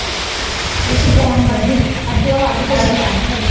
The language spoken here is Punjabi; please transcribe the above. ਏਹ ਸ਼ੁਦੈਨ ਵਾਦੀ, ਅਧਿਓ ਵੱਧ ਤੇ ਸ਼ੁਦੈਨ ਐ ਏਹ